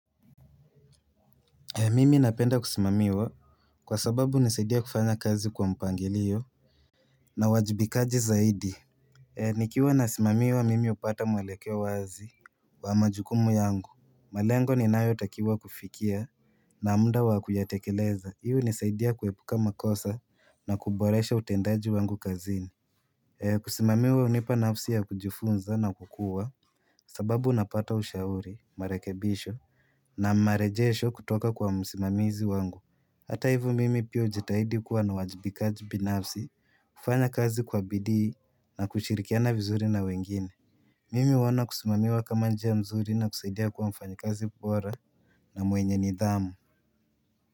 Mimi napenda kusimamiwa kwa sababu hunisaidia kufanya kazi kwa mpangilio na wajibikaji zaidi. Nikiwa nasimamiwa mimi hupata mwelekeo wazi wa majukumu yangu. Malengo ninayotakiwa kufikia na mda wa kuyatekeleza. Hiyo hunisaidia kuepuka makosa na kuboresha utendaji wangu kazini. Kusimamiwa hunipa nafsi ya kujifunza na kukua sababu napata ushauri, marekebisho na marejesho kutoka kwa msimamizi wangu. Hata hiv mimi pia hujitahidi kuwa na uwajibikaji binafsi kufanya kazi kwa bidii na kushirikiana vizuri na wengine Mimi huona kusimamiwa kama njia mzuri na kusaidia kuwa mfanyikazi bora na mwenye nidhamu.